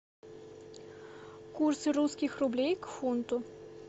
курсы русских рублей к фунту